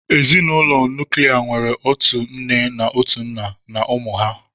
Ezinụlọ nuklia nwere otu nne na otu nna na ụmụ ha